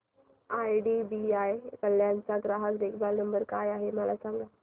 IDBI Kalyan चा ग्राहक देखभाल नंबर काय आहे मला सांगा